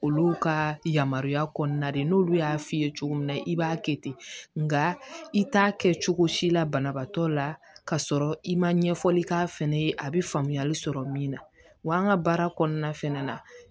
Olu ka yamaruya kɔnɔna de n'olu y'a f'i ye cogo min na i b'a kɛ ten nka i t'a kɛ cogo si la banabaatɔ la ka sɔrɔ i ma ɲɛfɔli k'a fɛnɛ ye a be faamuyali sɔrɔ min na wa an ka baara kɔnɔna fɛnɛ na